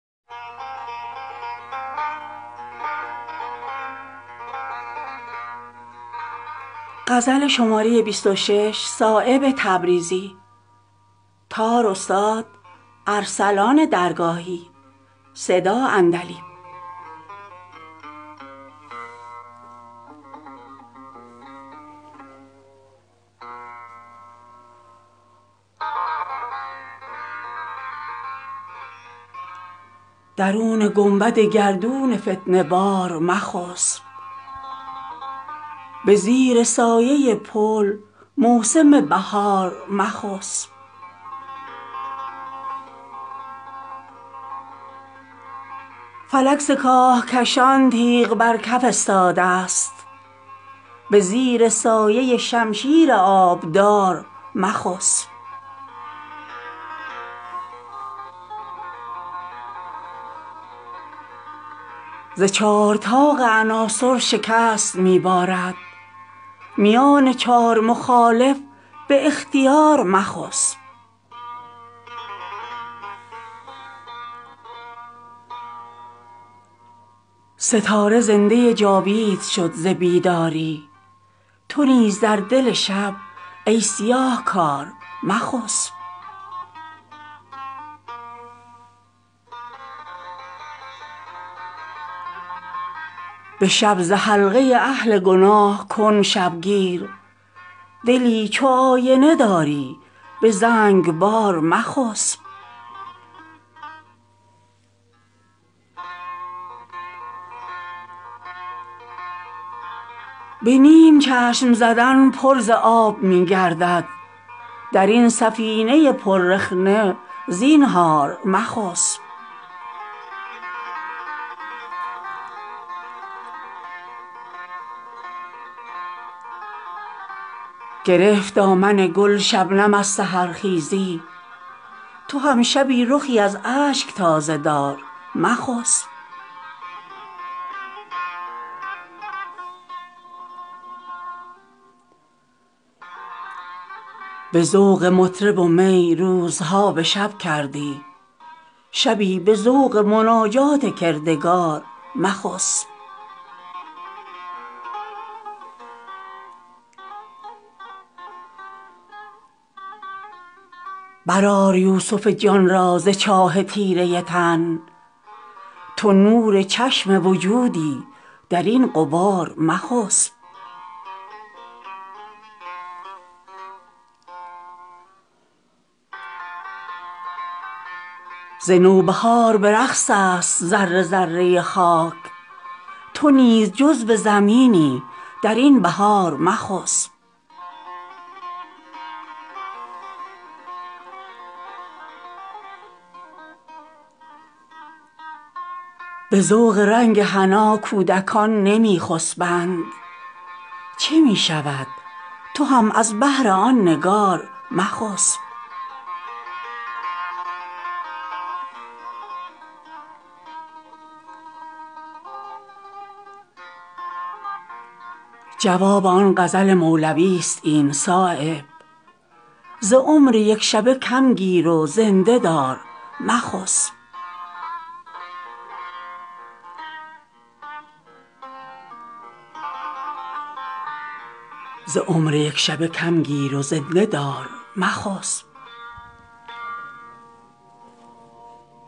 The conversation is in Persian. درون گنبد گردون فتنه بار مخسب به زیر سایه پل موسم بهار مخسب فلک ز کاهکشان تیغ بر کف استاده است به زیر سایه شمشیر آبدار مخسب فتاده است زمین پیش پای صرصر مرگ چو گرد بر سر این فرش مستعار مخسب ز چار طاق عناصر شکست می بارد میان چار مخالف به اختیار مخسب درون سینه ماهی نکرد یونس خواب برون نرفته ازین آبگون حصار مخسب ز مرگ نسیه چه چون برگ بید می لرزی ز مرگ نقد بیندیش زینهار مخسب اگر چه ظلمت شب پرده پوش بی ادبی است تو بی ادب ادب خود نگاه دار مخسب مباد شرطه طوفان درست بنشیند نبرده رخت ازین ورطه بر کنار مخسب دو چشم روشن ماهی درون پرده آب دو شاهدست که در بحر بی کنار مخسب به چشم دام ز ذوق شکار خواب نرفت اگر تو یافته ای لذت شکار مخسب صفای چهره شبنم گل سحرخیزی است ز یکدگر بگشا چشم اعتبار مخسب به این امید که سر رشته ای به دست افتد شود چو سوزن اگر پیکرت نزار مخسب زمام ناقه لیلی بلال شب دارد نصیحت من مجنون به یاد دار مخسب بگیر از ورق لاله نقش بیداری تو نیز ناخن داغی به دل فشار مخسب گرفت هاله در آغوش ماه خود را تنگ تو هم ز اهل دلی ای تهی کنار مخسب به سایه علم آه خویش را برسان شبی که فردا جنگ است زینهار مخسب ز حرف تلخ در اینجا زبان خویش بگز به خوابگاه لحد در دهان مار مخسب حلال نیست به بیماردار خواب گران ترحمی کن و بهر دل فگار مخسب بهار عیش هم آغوش غنچه خسبان است به زیر سایه گل پهن سبزه وار مخسب ستاره زنده جاوید شد ز بیداری تو نیز در دل شب ای سیاهکار مخسب به شب ز حلقه اهل گناه کن شبگیر دلی چو آینه داری به زنگبار مخسب به جنبش نفس خود ببین و عبرت گیر رفیق بر سر کوچ است زینهار مخسب دم فسرده سرما ز خواب سنگین است اگر تو سوخته جانی چو نوبهار مخسب گل سر سبد عمر چشم بیدارست به رغم دیده گلچین روزگار مخسب رسول گفت که با خواب مرگ هم پدرست به اختیار مکن مرگ اختیار مخسب زمین و آب تو کمتر ز هیچ دهقان نیست ز تخم اشک تو هم دانه ای بکار مخسب کمین دزد بود خواب اگر ز اهل دلی درین کمینگه آشوب زینهار مخسب نشان چشمه حیوان به تیرگی دادند نقاب شب چو فکندند خضروار مخسب نبسته لب ز سخن آرمیدگی مطلب نکرده رخنه دیوار استوار مخسب حصار جسم تو از چشم و گوش پر رخنه است نصیحت دل آگاه گوش دار مخسب به نیم چشم زدن پر ز آب می گردد درین سفینه پر رخنه زینهار مخسب گرفت دامن گل شبنم از سحرخیزی تو هم شبی رخی از اشک تازه دار مخسب ترا که دولت بیدار شمع بالین است چو نقش صورت دیبا به یک قرار مخسب به ذوق مطرب و می روزها به شب کردی شبی به ذوق مناجات کردگار مخسب ز فیض صدق طلب مور پر برون آورد تو نیز پای کسالت ز گل برآر مخسب ترا به گوهر دل کرده اند امانت دار ز دزد امانت حق را نگاه دار مخسب اگر ترا به شکر خواب بخت بفریبد تو خواب تلخ عدم را به خاطر آر مخسب برآر یوسف جان را ز چاه تیره تن تو نور چشم وجودی درین غبار مخسب مثلثی است موالید بهر رفتن تو درین بساط مربع تو خشت وار مخسب ز نوبهار به رقص است ذره ذره خاک تو نیز جزو زمینی درین بهار مخسب فروغ دولت بیدار چشم اگر داری تو هم چو شمع به مژگان اشکبار مخسب مباد عشق نهد جوز پوچ در بغلت چو کودکان به سر راه انتظار مخسب نگاه کن سر تار نفس کجا بندست نگاه دار سر رشته زینهار مخسب ز عشق سرو چمن خواب نیست فاخته را تو هم به سایه آن سرو پایدار مخسب قدم به دیده خورشید نه مسیحاوار میان آب و گل جسم چون حمار مخسب گلیم بخت درین آب می توان شستن چو مرده در دم صبح سفیدکار مخسب رسید کوکبه عشق سر برآر از خاک چو دانه در جگر خاک در بهار مخسب اگر نه مهر نهاده است بر دلت غفلت به پیش دیده بیدار کردگار مخسب به ذوق رنگ حنا کودکان نمی خسبند چه می شود تو هم از بهر آن نگار مخسب شده است دخمه دل های مرده مرکز خاک درین حظیره پر مرده زینهار مخسب جواب آن غزل مولوی است این صایب ز عمر یکشبه کم گیر و زنده دار مخسب